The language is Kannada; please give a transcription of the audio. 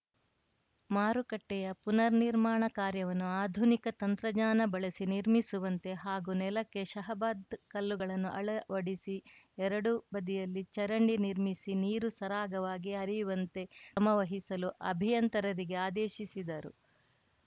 ಮಾರುಕಟ್ಟೆಯ ಪುನರ್‌ ನಿರ್ಮಾಣ ಕಾರ್ಯವನ್ನು ಆಧುನಿಕ ತಂತ್ರಜ್ಞಾನ ಬಳಸಿ ನಿರ್ಮಿಸುವಂತೆ ಹಾಗೂ ನೆಲಕ್ಕೆ ಶಹಾಬದ್‌ ಕಲ್ಲುಗಳನ್ನು ಅಳವಡಿಸಿ ಎರಡು ಬದಿಯಲ್ಲಿ ಚರಂಡಿ ನಿರ್ಮಿಸಿ ನೀರು ಸರಾಗವಾಗಿ ಹರಿಯುವಂತೆ ಕ್ರಮವಹಿಸಲು ಅಭಿಯಂತರರಿಗೆ ಆದೇಶಿಸಿದರು